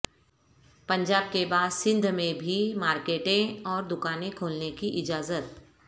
پنجاب کے بعد سندھ میں بھی مارکیٹیں اور دکانیں کھولنے کی اجازت